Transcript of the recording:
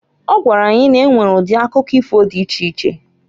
Ọ gwara anyị na-enwere udi akụkọ ifo di iche iche.